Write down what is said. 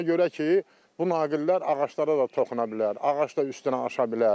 Ona görə ki, bu naqillər ağaclara da toxuna bilər, ağac da üstünə aça bilər.